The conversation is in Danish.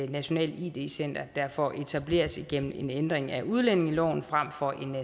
nationalt id center derfor etableres igennem en ændring af udlændingeloven frem for en